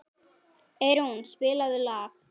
Eyrún, spilaðu lag.